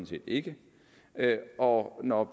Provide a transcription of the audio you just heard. set ikke og når